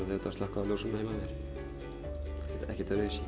þú ert að slökkva á ljósunum heima hjá þér ekkert öðruvísi